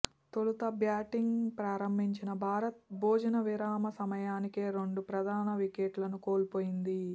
తొలుత బ్యాటింగ్ ప్రారంభించిన భారత్ భోజన విరామ సమయానికే రెండు ప్రధాన వికెట్లను కోల్పోయింది